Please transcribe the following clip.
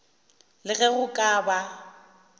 le ge go ka ba